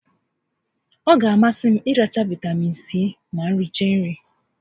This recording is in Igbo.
Ọ ga a masị m ịracha Vaịtamiin Sii ma m richaa nri